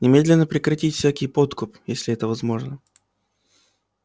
немедленно прекратить всякий подкуп если это возможно